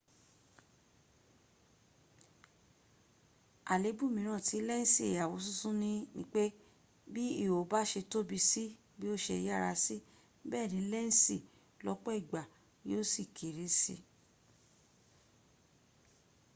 àléébù mìíràn tí lẹ́ǹsì àwosúnsún nipé bi ihò bà ṣe tóbi sí bí o ṣe yára sí bẹẹni lẹ́ǹsì lọ́pọ̀ ìgbà yíò sì kéré sí